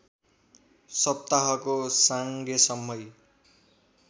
सप्ताहको साङ्गेसम्मै